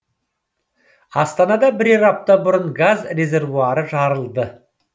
астанада бірер апта бұрын газ резервуары жарылды